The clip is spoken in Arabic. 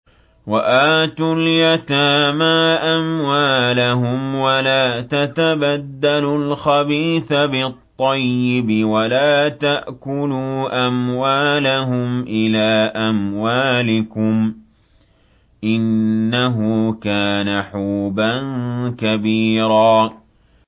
وَآتُوا الْيَتَامَىٰ أَمْوَالَهُمْ ۖ وَلَا تَتَبَدَّلُوا الْخَبِيثَ بِالطَّيِّبِ ۖ وَلَا تَأْكُلُوا أَمْوَالَهُمْ إِلَىٰ أَمْوَالِكُمْ ۚ إِنَّهُ كَانَ حُوبًا كَبِيرًا